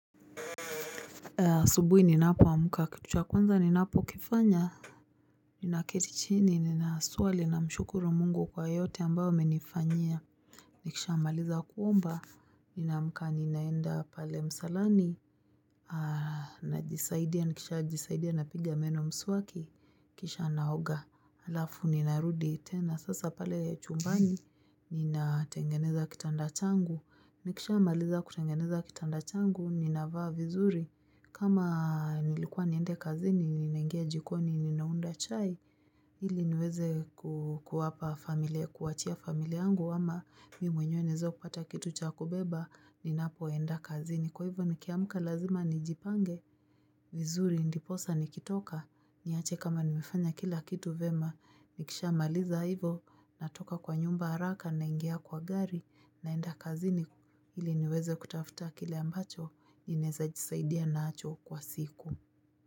Asubuhi ninapo amka, kitu cha kwanza ninapo kifanya Ninaketi chini ni naswali namshukuru mungu kwa yote ambayo amenifanyia nikishamaliza kuomba, ni na amka ninaenda pale msalani Najisaidia, nikishajisaidia napiga meno mswaki, kisha naoga Alafu ninarudi tena, sasa pale chumbani, ninatengeneza kitanda changu Nikisha amaliza kutengeneza kitanda changu, ninavaa vizuri kama nilikuwa niende kazini, ninaingia jikoni, ninaunda chai ili niweze kuwapa familia, kuachia familia yangu ama mimi mwenye niweze kupata kitu cha kubeba, ninapoenda kazini Kwa hivyo ni kiamka lazima ni jipange, vizuri, ndiposa, nikitoka niache kama nimefanya kila kitu vema, nikisha maliza hivyo natoka kwa nyumba haraka, naingia kwa gari, naenda kazini ili niweze kutafuta kile ambacho naweza jisaidia nacho kwa siku.